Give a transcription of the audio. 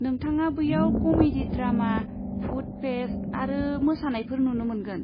नोंथाङा बैयाव comedy drama, food fest आरो मोसानायफोर नुनो मोनगोन।